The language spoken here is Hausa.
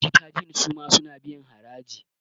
jitagen sama suna biyan haraji